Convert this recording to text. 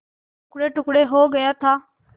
टुकड़ेटुकड़े हो गया था